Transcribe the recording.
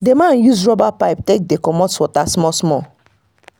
the man use rubber pipe take dey comot water small-small.